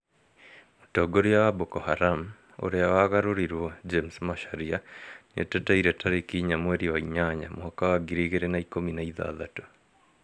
Mũtongoria wa Boko Haram, " ũrĩa wagarũrirwo" , James Macharia nĩeteteire tarĩki ĩnya mweri wa ĩnana mwaka wa ngiri igĩrĩ na ikũmi na ithathatũ